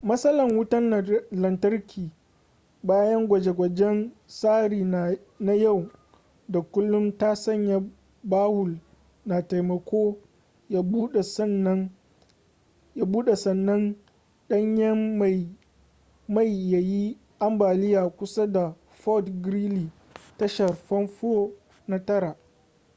matsalan wutan lantarki bayan gwaje-gwajen tsari na yau da kullum ta sanya bawul na taimako ya bude sannan danyen mai ya yi ambaliya kusa da fort greely tashar fanfo na 9